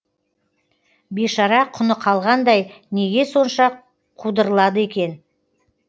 бейшара құны қалғандай неге сонша қудырлады екен